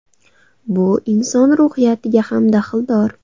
Bu inson ruhiyatiga ham daxldor.